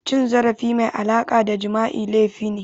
Cin zarafi mai alaƙa da Jima'i laifi ne